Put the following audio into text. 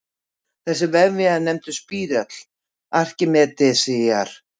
Þessi vefja er nefndur spírall Arkímedesar.